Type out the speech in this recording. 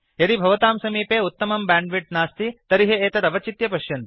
यदि भवतां समीपे उत्तमं बैण्डविड्थ नास्ति तर्हि एतत् अवचित्य पश्यन्तु